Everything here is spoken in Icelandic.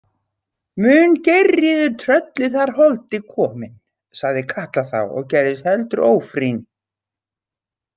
Mun Geirríður tröllið þar komin, sagði Katla þá og gerðist heldur ófrýn.